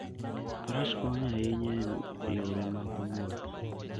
Faras konyo ahinya e yore mag wuoth.